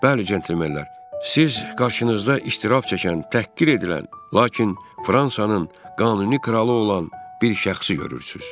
Bəli, cənablar, siz qarşınızda istirab çəkən, təhqir edilən, lakin Fransanın qanuni kralı olan bir şəxsi görürsünüz.